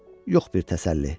Yox bir təsəlli.